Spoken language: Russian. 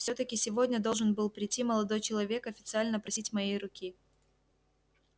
всё-таки сегодня должен был прийти молодой человек официально просить моей руки